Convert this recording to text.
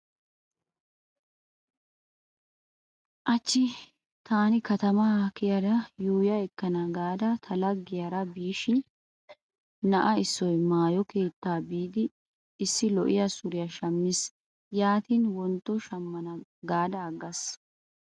Hachchi taani katama kiyada yuuyya ekkana gaada ta laggiyara biishin na'a issoy maayo keetta biidi issi lo'iya suriya shammiis. Yaatin wontto shammana gaada aggaas.